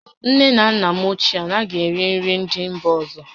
Nne na nna m ochie anaghị eri nri ndị mba ọzọ